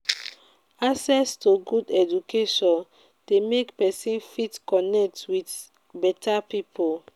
access to good education de make persin fit connect with with better pipo